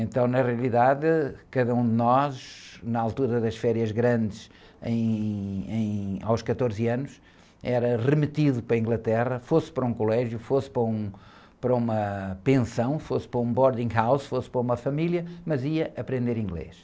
Então, na realidade, cada um de nós, na altura das férias grandes, em, em, aos quatorze anos, era remetido para a Inglaterra, fosse para um colégio, fosse para um, para uma pensão, fosse para um boarding house, fosse para uma família, mas ia aprender inglês.